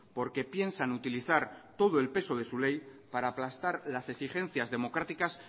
porque piensan utilizar todo el peso de su ley para aplastar las exigencias democráticas